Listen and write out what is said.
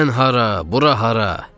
Sən hara, bura hara?